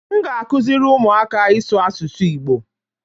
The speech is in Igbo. M ga-akụziri ụmụaka ịsụ asụsụ Igbo